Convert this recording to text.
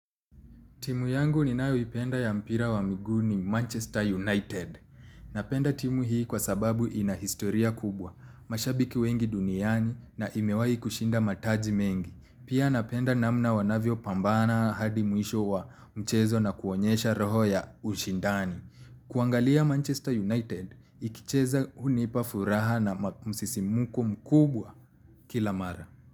Timu yangu ninayoipenda ya mpira wa miguu ni Manchester United. Napenda timu hii kwa sababu ina historia kubwa mashabiki wengi duniani na imewai kushinda mataji mengi. Pia napenda namna wanavyo pambana hadi mwisho wa mchezo na kuonyesha roho ya ushindani. Kuangalia Manchester United, ikicheza hunipa furaha na msisimuko mkubwa kila mara.